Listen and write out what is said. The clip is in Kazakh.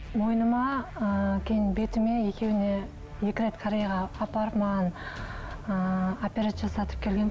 мойныма ы кейін бетіме екеуіне екі рет кореяға апарып маған ыыы операция жасатып келгенмін